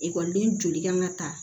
Ekɔliden joli kan ka ta